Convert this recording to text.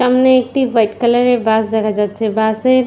সামনে একটি white colour -এর বাস দেখা যাচ্ছে। বাস -এর --